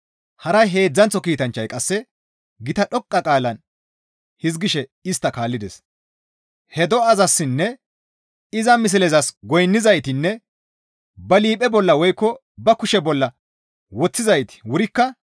Haray heedzdzanththo kiitanchchay qasse gita dhoqqa qaalan hizgishe istta kaallides; «He do7azassinne iza mislezas goynnizaytinne ba liiphe bolla woykko ba kushe bolla woththizayti wurikka,